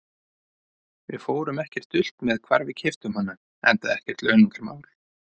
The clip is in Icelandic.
Við fórum ekkert dult með hvar við keyptum hana, enda ekkert launungarmál.